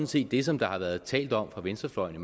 set det som der har været talt om fra venstrefløjens